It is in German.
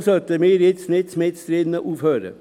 Deshalb sollten wir nicht mittendrin aufhören.